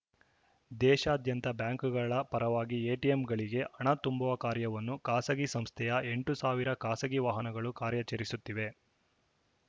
ದೇಶಾದ್ಯಂತ ಬ್ಯಾಂಕ್‌ಗಳ ಪರವಾಗಿ ಎಟಿಎಂಗಳಿಗೆ ಹಣ ತುಂಬುವ ಕಾರ್ಯವನ್ನು ಖಾಸಗಿ ಸಂಸ್ಥೆಯ ಎಂಟು ಸಾವಿರ ಖಾಸಗಿ ವಾಹನಗಳು ಕಾರ್ಯಾಚರಿಸುತ್ತಿವೆ